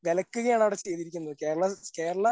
വിലക്കുകയാണ് അവിടെ ചെയ്തിരിക്കുന്നത്. കേരള കേരള